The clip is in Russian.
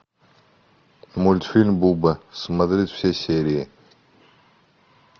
мультфильм буба смотреть все серии